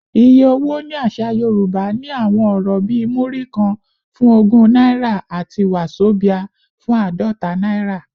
Iye owó ní àṣà Yorùbá ní àwọn ọ̀rọ̀ bíi “Múrí kan” fún ogún náírà àti “wàzobíà” fún àádọ́ta naira.